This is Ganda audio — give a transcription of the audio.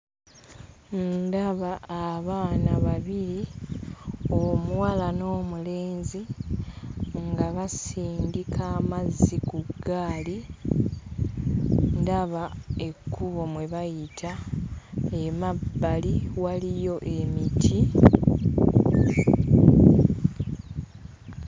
Ndaba abaana babiri: omuwala n'omulenzi nga basindika amazzi ku ggaali. Ndaba ekkubo mwe bayita, emabbali waliyo emiti.